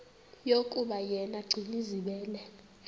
yokuba yena gcinizibele